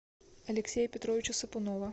алексея петровича сапунова